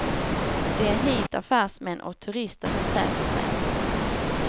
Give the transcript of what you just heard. Det är hit affärsmän och turister nu söker sig.